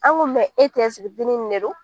An ko e tɛ dennin ne don